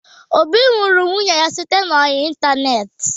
Obi hụrụ nwunye ya site n'ọyị ịntaneetị.